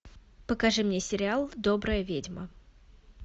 покажи мне сериал добрая ведьма